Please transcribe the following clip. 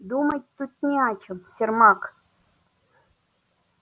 думать тут не о чем сермак